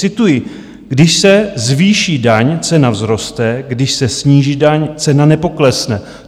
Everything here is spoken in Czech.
Cituji: "Když se zvýší daň, cena vzroste, když se sníží daň, cena nepoklesne".